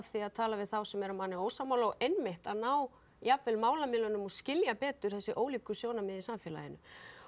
því að tala við þá sem eru manni ósammála og einmitt að ná málamiðlunum og skilja betur þessi ólíku sjónarmið í samfélaginu